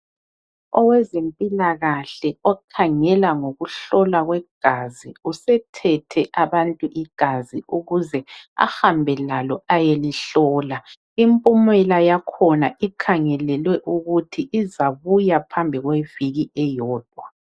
Owezempilakahle okhangela ngokuhlolwa kwegazi usethethe abantu igazi ukuze ahambe lalo ayelihlola. Impumela yakhona ikhangelelwe ukuthi izabuya phambi kweviki eyodwa.